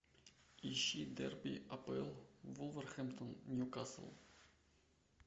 ищи дерби апл вулверхэмптон ньюкасл